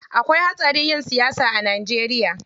Akwai hatsari yin siyasa a Najeriya.